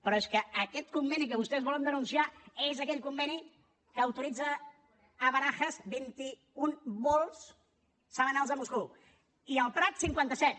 però és que aquest conveni que vostès volen denunciar és aquell conveni que autoritza a barajas vint i un vols setmanals a moscou i al prat cinquanta set